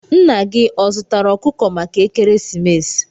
Nna gi ọ zụtara okuko maka ekeresimesi?